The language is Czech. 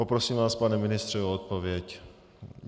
Poprosím vás, pane ministře, o odpověď.